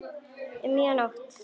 Um miðja nótt.